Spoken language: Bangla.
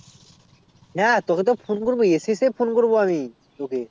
হ্যাঁ তোকে তো phone করবো এসে এসে phone করবো আমি তোকে